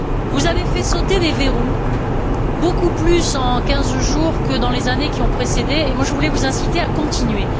Vous avez fait sauter des verrous, beaucoup plus en quinze jours que toutes les années qui ont précédé, et je voulais vous inciter à continuer.